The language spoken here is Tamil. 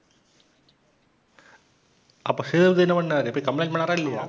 அப்ப சேதுபதி என்ன பண்ணாரு போயி complain பண்ணாரா இல்லயா?